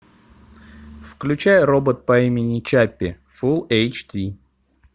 включай робот по имени чаппи фул эйч ди